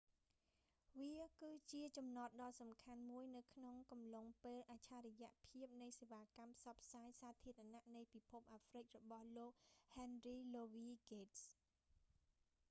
វាគឺជាចំណតដ៏សំខាន់មួយនៅក្នុងកំឡុងពេលអច្ឆរិយៈភាពនៃសេវាកម្មផ្សព្វផ្សាយសាធារណៈនៃពិភពអាហ្រ្វិករបស់លោក ហែនរី លូវី ហ្គេតស៍